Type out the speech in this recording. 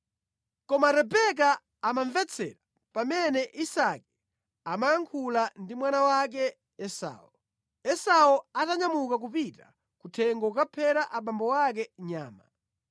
Koma Rebeka amamvetsera pamene Isake amayankhula ndi mwana wake Esau. Esau atanyamuka kupita kuthengo kukaphera abambo ake nyama,